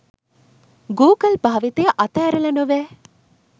Google භාවිතය අතෑරල නොවැ